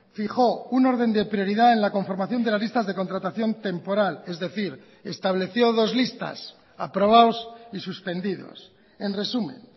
fijó un orden de prioridad en la conformación de las listas de contratación temporal es decir estableció dos listas aprobados y suspendidos en resumen